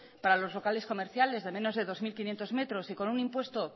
para los locales comerciales de menos de dos mil quinientos metros y con un impuesto